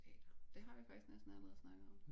Teater det har vi faktisk næsten allerede snakket om